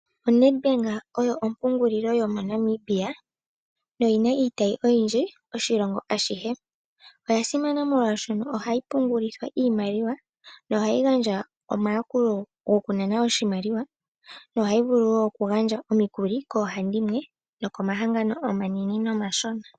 ONedbank oyo ompungulilo yo moNamibia noyi na iitayi oyindji oshilongo ashihe. Oya simana molwashono ohayi pungulithwa iimaliwa nohayi gandja omayakulo gokunana oshimaliwa, nohayi vulu wo okugandja omikuli koohandimwe nokomahangano omanene nomashona.